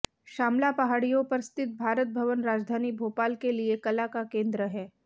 श्यामला पहाड़ियों पर स्थित भारत भवन राजधानी भोपाल के लिए कला का केंद्र है